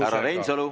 Härra Reinsalu!